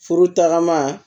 Furu tagama